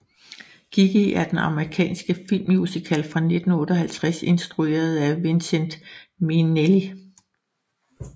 Gigi er en amerikansk filmmusical fra 1958 instrueret af Vincente Minnelli